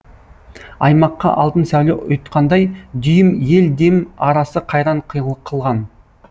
аймаққа алтын сәуле ұйытқандай дүйім ел дем арасы қайран қылған